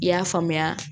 I y'a faamuya